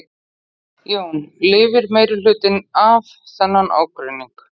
Jón: Lifir meirihlutinn af þennan ágreining?